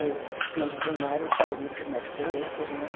Eu fiz o primário e saí, mas ficou outras, né?